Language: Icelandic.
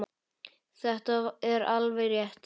Þetta er alveg rétt.